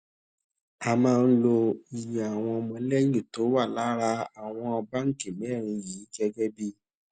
a máa ń lo iye àwọn ọmọlẹ́yìn tó wà lára àwọn báńkì mẹ́rin yìí gẹ́gẹ́ bí